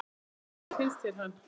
Lillý: Hvernig finnst þér hann?